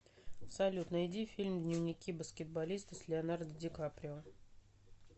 салют найди фильм дневники баскетболиста с леонардо ди каприо